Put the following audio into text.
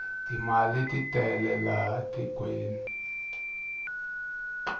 timali titele laha tikweni